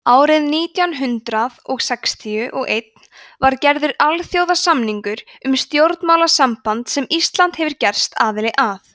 árið nítján hundrað sextíu og einn var gerður alþjóðasamningur um stjórnmálasamband sem ísland hefur gerst aðili að